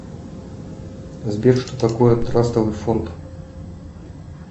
сбер что такое трастовый фонд